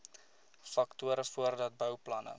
faktore voordat bouplanne